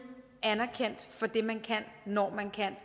anerkendt for det man kan når man kan